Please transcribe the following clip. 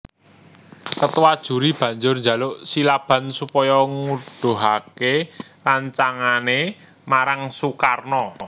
Ketua juri banjur njaluk Silaban supaya nguduhaké rancangané marang Sukarno